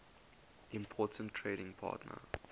important trading partner